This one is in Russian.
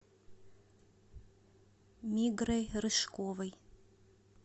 мигрой рыжковой